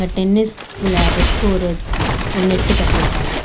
Tennis விளயாடறதுக்கு ஒரு one net கட்டிருக்காங்க.